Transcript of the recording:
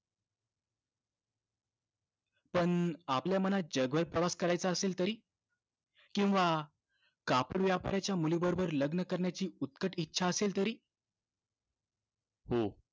पण आपल्या मनात जगभर प्रवास करायचा असेल तरी? किंवा कापड व्यापाऱ्याच्या मुलीबरोबर लग्न करण्याची उत्कट इच्छा असेल तरी? हो.